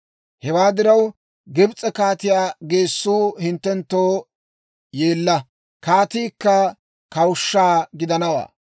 Hewaa diraw, Gibs'e kaatiyaa geessuu hinttenttoo yeella, kaatiikka kawushsha gidanawaa.